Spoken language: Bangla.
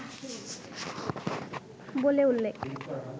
বলে উল্লেখ